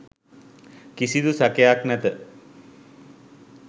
කිසිදු සැකයක් නැත.